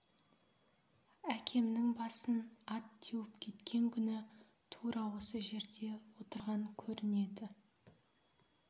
әкемнің басын ат теуіп кеткен күні тура осы жерде отырған көрінеді